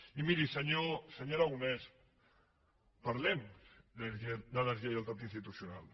i miri senyor aragonès parlem de deslleialtat institucio nal